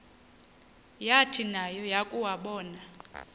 yathi nayo yakuwabona